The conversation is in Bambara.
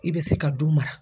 I bɛ se ka du mara.